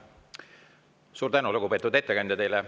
Suur tänu, lugupeetud ettekandja!